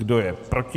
Kdo je proti?